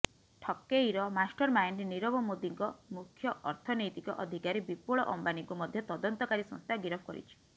ଠକେଇର ମାଷ୍ଟରମାଇଣ୍ଡ ନିରବ ମୋଦିଙ୍କ ମୁଖ୍ୟ ଅର୍ଥନୈତିକ ଅଧିକାରୀ ବିପୁଳ ଅମ୍ବାନିଙ୍କୁ ମଧ୍ୟ ତଦନ୍ତକାରୀ ସଂସ୍ଥା ଗିରଫ କରିଛି